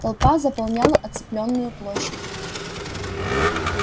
толпа заполняла оцеплённую площадь